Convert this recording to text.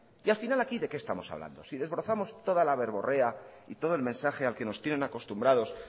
y al final aquí de qué estamos hablando si desbrozamos toda la verborrea y todo el mensaje a que nos tienen acostumbrados